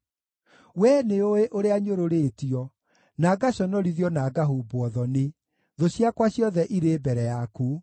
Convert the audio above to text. We nĩũũĩ ũrĩa nyũrũrĩtio, na ngaconorithio na ngahumbwo thoni; thũ ciakwa ciothe irĩ mbere yaku.